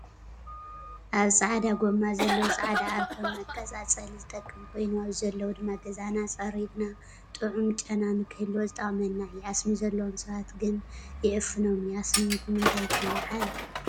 ኣብ ፃዕዳ ጎማ ዘለው ፃዕዳ ኣርኮል መቃፃፀሊ ዝጠቅም ኮይኑ ኣብዙ ዘለው ድማ ገዛና ፀሪግና ጡዑም ጨናንክህልዎ ዝጠቅመና እዩ። ኣስሚ ዘለዎም ሰባት ግና ይዕፍኖም እዩ። ኣስሚ ብምታይ ትልዓል ?